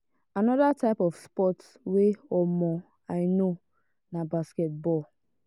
another type of sports wey um i i know na basket ball.